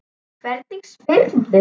Hvernig spyrðu.